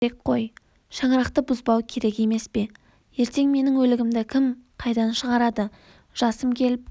керек қой шаңырақты бұзбау керек емес пе ертең менің өлігімді кім қайдан шыгарады жасым келіп